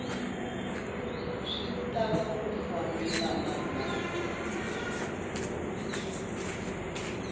swi tala ku fambelena na